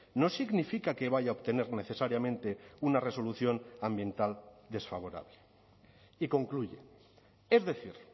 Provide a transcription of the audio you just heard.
no significa que vaya a obtener necesariamente una resolución ambiental desfavorable y concluye es decir